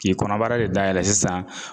K'i kɔnɔbara de dayɛlɛn sisan